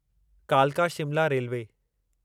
कालका शिमला रेलवे